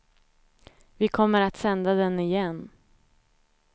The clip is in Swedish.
Vi kommer att sända den igen.